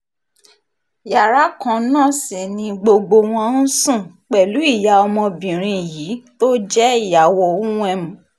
yàrá kan náà sì ni gbogbo wọn ń sùn pẹ̀lú ìyá ọmọbìnrin yìí tó jẹ́ ìyàwó uwem